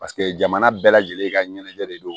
Paseke jamana bɛɛ lajɛlen ka ɲɛnajɛ de don